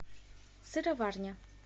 сыроварня